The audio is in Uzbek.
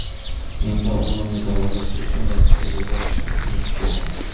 Endi o‘g‘limni davolash uchun Rossiyaga borishimiz kerak.